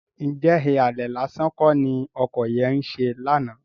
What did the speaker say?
Ǹjẹ́ ìhàlẹ̀ lásán kọ́ ni ọkọ yẹn ń ṣe lánàá?